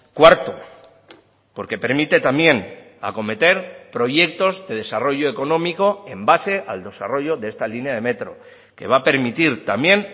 cuarto porque permite también acometer proyectos de desarrollo económico en base al desarrollo de esta línea de metro que va a permitir también